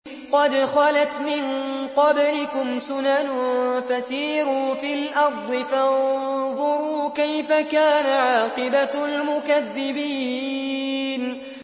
قَدْ خَلَتْ مِن قَبْلِكُمْ سُنَنٌ فَسِيرُوا فِي الْأَرْضِ فَانظُرُوا كَيْفَ كَانَ عَاقِبَةُ الْمُكَذِّبِينَ